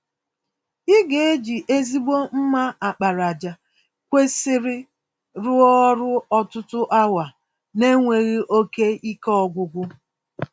Ị ga eji ezigbo mma àkpàràjà kwesịrị rụọ ọrụ ọtụtụ awa n'enweghị oke ike ọgwụgwụ.